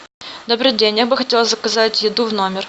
добрый день я бы хотела заказать еду в номер